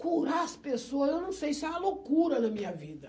Curar as pessoas, eu não sei, isso é uma loucura na minha vida.